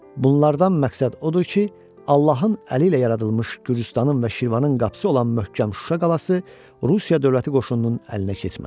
Bunlardan məqsəd odur ki, Allahın əli ilə yaradılmış Gürcüstanın və Şirvanın qapısı olan möhkəm Şuşa qalası Rusiya dövləti qoşununun əlinə keçməsin.